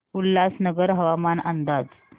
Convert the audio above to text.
उल्हासनगर हवामान अंदाज